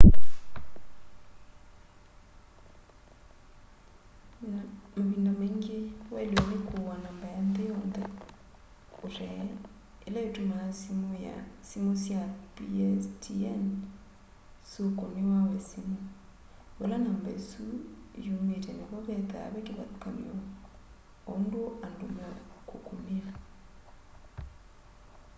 mavinda maingi wailwe ni kuua namba ya nthi yonthe utee ila itumaa simu sya pstn syukunia we simu vala namba isu yumite nivo vethwaa ve kivathukany'o undu andu meukukunia